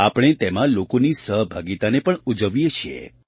આપણે તેમાં લોકોની સહભાગિતાને પણ ઉજવીએ છીએ